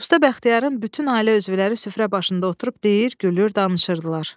Usta Bəxtiyarın bütün ailə üzvləri süfrə başında oturub deyir, gülür, danışırdılar.